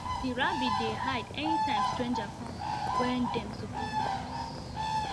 the rabbit dey hide anytime strangers come wen dem suppose dey rest